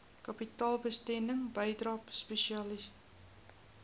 kapitaalbesteding bydrae spesiale